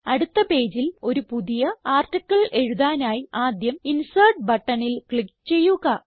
അടുത്ത പേജിൽ ഒരു പുതിയ ആർട്ടിക്കിൾ എഴുതാനായി ആദ്യം ഇൻസെർട്ട് ബട്ടണിൽ ക്ലിക്ക് ചെയ്യുക